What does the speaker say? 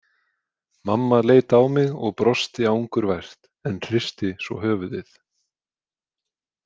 Mamma leit á mig og brosti angurvært en hristi svo höfuðið.